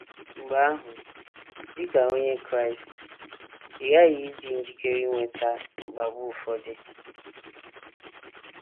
Mgbe ahụ, dị ka Onye Kraịst, ị ghaghị ịdị njikere inweta mkpagbu ụfọdụ.